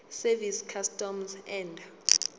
service customs and